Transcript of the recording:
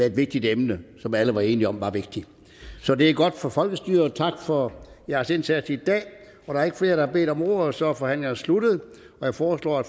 et vigtigt emne som alle var enige om er vigtigt så det er godt for folkestyret tak for jeres indsats i dag der er ikke flere der har bedt om ordet og så er forhandlingerne sluttet jeg foreslår at